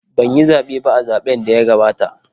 Ban yi zaɓe ba a zaɓn da ya gabata